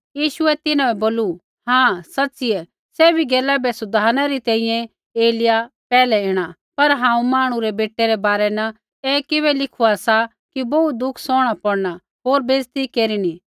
यीशुऐ तिन्हां बै बोलू हाँ सच़िऐ सैभी गैला बै सुधारनै री तैंईंयैं एलिय्याह पैहलै ऐणा पर हांऊँ मांहणु रै बेटै रै बारै न ऐ किबै लिखुआ सा कि बोहू दुख सौहणा पौड़ना होर बैइज़त केरिनी